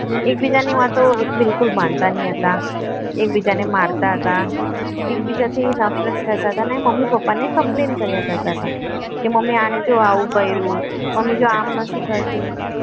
એકબીજાને વાતો બિલકુલ માનતા નહીં હતા એકબીજાને મારતા હતા એકબીજાથી નફરત કરતા હતા ને મમ્મી પપ્પાને complain કર્યા કરતા હતા કે મમ્મી અને જો આવું કર્યું મમ્મી જો આમ નથી કરતી